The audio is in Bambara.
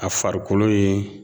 A farikolo in